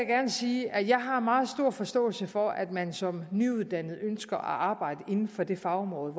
gerne sige at jeg har meget stor forståelse for at man som nyuddannet ønsker at arbejde inden for det fagområde